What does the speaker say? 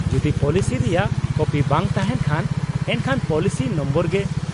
-ᱡᱩᱫᱤ ᱯᱚᱞᱤᱥᱤ ᱨᱮᱭᱟᱜ ᱠᱚᱯᱤ ᱵᱟᱝ ᱛᱟᱦᱮᱱ ᱠᱷᱟᱱ ᱮᱱᱠᱷᱟᱱ ᱯᱚᱞᱤᱥᱤ ᱱᱚᱢᱵᱚᱨ ᱜᱮ ᱾